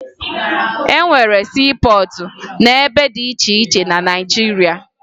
E nwere siipọọtụ n'ebe dị iche iche na Naịjirịa